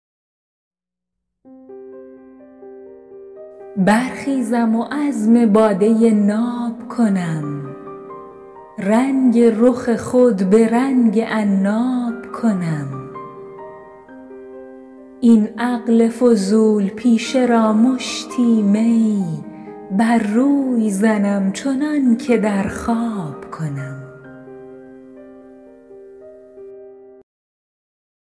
برخیزم و عزم باده ناب کنم رنگ رخ خود به رنگ عناب کنم این عقل فضول پیشه را مشتی می بر روی زنم چنان که در خواب کنم